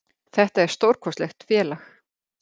Þetta er stórkostlegt félag.